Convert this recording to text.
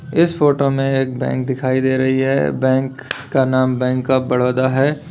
इस फोटो में एक बैंक दिखाई दे रही है बैंक का नाम बैंक ऑफ़ बड़ोदा है।